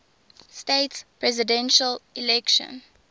states presidential election